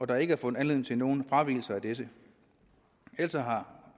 der ikke er fundet anledning til nogen fravigelser af dette altså